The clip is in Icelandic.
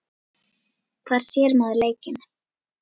Hvar sér maður leikinn?